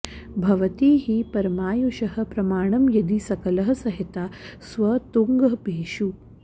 भवति हि परमायुषः प्रमाणं यदि सकलः सहिताः स्व तुङ्ग भेषु